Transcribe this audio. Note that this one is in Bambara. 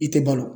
I tɛ balo